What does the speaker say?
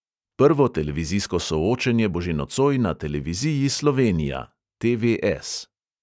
Prvo televizijsko soočenje bo že nocoj na televiziji slovenija